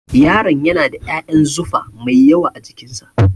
Yaron yana da ƴaƴan zufa mai yawa a jikin sa